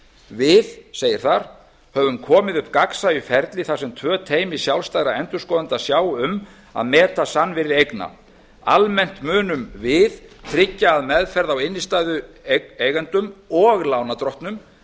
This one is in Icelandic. við segir þar höfum komið upp gagnsæju ferli þar sem tvö teymi sjálfstæðra endurskoðenda sjá um að meta sannvirði eigna almennt munum við tryggja að meðferð á innstæðueigendum og lánardrottnum